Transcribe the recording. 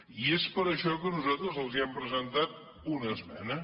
i és per això que nosaltres els hem presentat una esmena